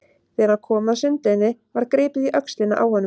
Þegar hann kom að sundlauginni var gripið í öxlina á honum.